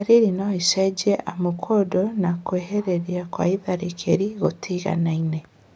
Ndariri noicenjie amu kũndũ na kwĩhĩrĩria kwa itharĩkĩra nĩgũtigaine